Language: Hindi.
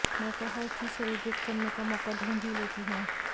मैं तो हर चीज सेलिब्रेट करने का मौका ढूंढ ही लेती हूं